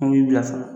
An b'i bilasira